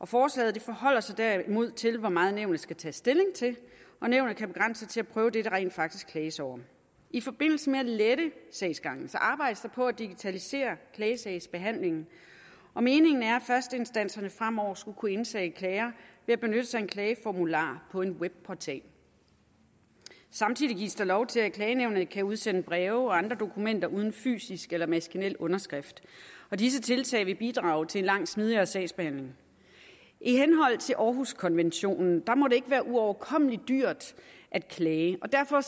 forslaget forholder sig derimod til hvor meget nævnet skal tage stilling til og nævnet kan begrænse sig til at prøve det der rent faktisk klages over i forbindelse med at lette sagsgangen arbejdes der på at digitalisere klagesagsbehandlingen og meningen er at førsteinstanserne fremover skal kunne indsende klager ved at benytte sig af en klageformular på en webportal samtidig gives der lov til at klagenævnet kan udsende breve og andre dokumenter uden fysisk eller maskinel underskrift og disse tiltag vil bidrage til en langt smidigere sagsbehandling i henhold til århuskonventionen må det ikke være uoverkommelig dyrt at klage og derfor